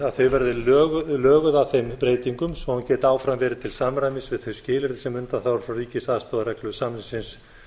að þau verði löguð að þeim breytingum svo hann geti áfram verið til samræmis við þau skilyrði sem undanþágur frá ríkisastoðareglu samningsins